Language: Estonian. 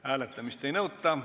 Hääletamist ei nõuta.